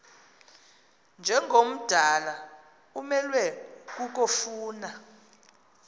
njengomdala umelwe kukofuna